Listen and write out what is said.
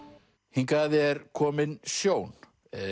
hingað er kominn Sjón